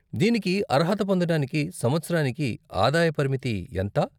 దీనికి అర్హత పొందడానికి సంవత్సరానికి ఆదాయ పరిమితి ఎంత?